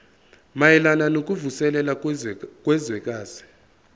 mayelana nokuvuselela kwezwekazi